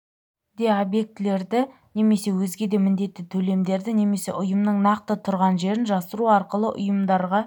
да объектілерді немесе өзге де міндетті төлемдерді немесе ұйымның нақты тұрған жерін жасыру арқылы ұйымдарға